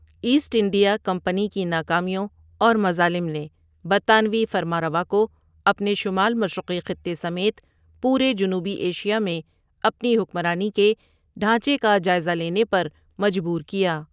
Asset India Company کی ناکامیوں اور مظالم نے برطانوی فرمان روا کو اپنے شمال مشرقی خطے سمیت پورے جنوبی ایشیا میں اپنی حکمرانی کے ڈھانچے کا جائزہ لینے پر مجبور کیا۔